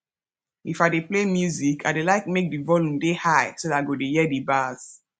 if i dey play music i dey like make the volume dey high so that i go hear the bass